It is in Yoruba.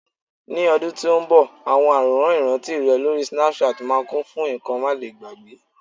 ní ọdún tí o nbọ, awọn aworan iranti rè lori Snapchat ma kún fún nkan malegbagbe